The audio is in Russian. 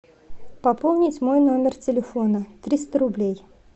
пополнить мой номер телефона триста рублей